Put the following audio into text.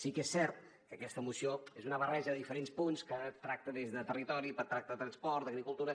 sí que és cert que aquesta moció és una barreja de diferents punts que tracta des de territori tracta de transport d’agricultura